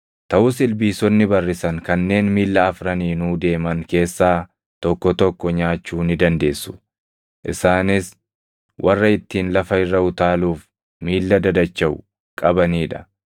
Taʼus ilbiisonni barrisan kanneen miilla afraniinuu deeman keessaa tokko tokko nyaachuu ni dandeessu; isaanis warra ittiin lafa irra utaaluuf miilla dadachaʼu qabanii dha.